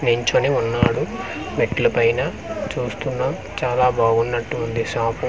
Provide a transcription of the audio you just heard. నిల్చొని ఉన్నాడు మెట్ల పైన చూస్తున్నాం చాలా బాగా ఉన్నటు ఉంది షాప్ .]